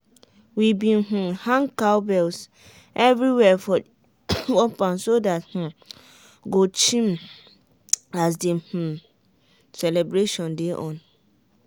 we been um hang cowbells everywhere for the compound so dat dem um go chime as the um celebration dey on.